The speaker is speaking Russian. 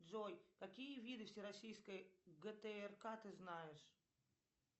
джой какие виды всероссийской гтрк ты знаешь